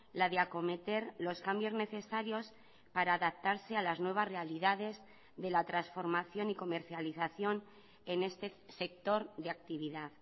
la de acometer los cambios necesarios para adaptarse a las nuevas realidades de la transformación y comercialización en este sector de actividad